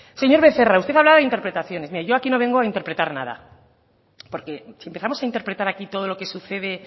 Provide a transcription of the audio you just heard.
señor becerra usted hablaba de interpretaciones mire yo aquí no vengo a interpretar nada porque si empezamos a interpretar aquí todo lo que sucede